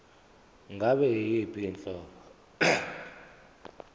ngabe yiyiphi inhlobo